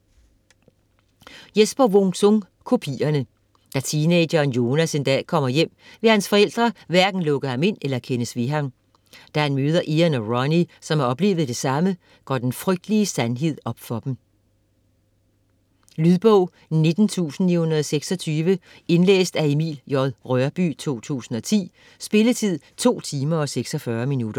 Wung-Sung, Jesper: Kopierne Da teenageren Jonas en dag kommer hjem, vil hans forældre hverken lukke ham ind eller kendes ved ham. Da han møder Ian og Ronnie, som har oplevet det samme, går den frygtelige sandhed op for dem. Lydbog 19926 Indlæst af Emil J. Rørbye, 2010. Spilletid: 2 timer, 46 minutter.